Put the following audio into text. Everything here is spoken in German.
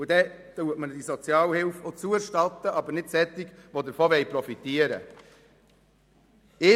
Dann kann die Sozialhilfe auch zugestanden werden, aber nicht solchen, die nur davon profitieren wollen.